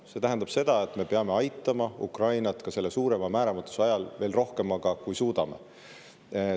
See tähendab seda, et me peame aitama Ukrainat ka selle suurema määramatuse ajal veel rohkemaga, kui suudame.